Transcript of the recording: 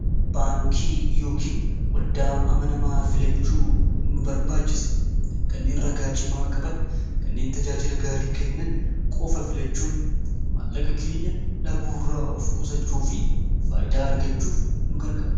baankii iyookiin waldaa amanamaa filachuu nu barbaachisa kanneen ragaa cimaa qaban kanneen tajaajila gaarii kennan qofa filachuun mallaqa keenya dhabuuirraa of kusachuu fi faayidaa argachuuf nu gargaara